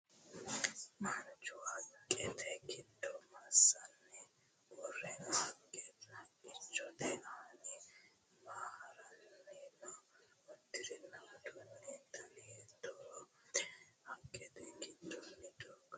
Manchu haqqete giddo massanni uure noo? Haqqichote aanini maa haranni noo? Uddirino uddanono dana hiittote? Haqqete giddono doogo noonso dino?